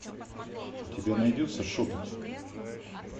у тебя найдется шепот